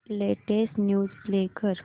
latest news play कर